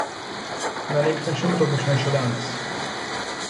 Na neki način to počne še danes.